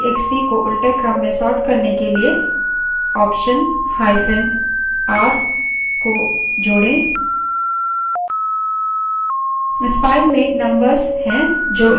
number txt को उलटे क्रम में sort करने के लिए optionr को जोड़ें